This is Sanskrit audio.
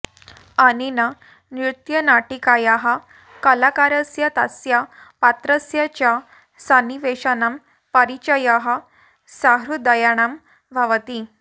अनेन नृत्यनाटिकायाः कलाकारस्य तस्य पात्रस्य च सन्निवेशानां परिचयः सहृदयाणां भवति